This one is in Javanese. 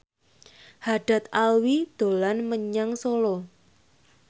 Haddad Alwi dolan menyang Solo